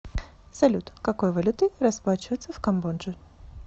салют какой валютой расплачиваются в камбодже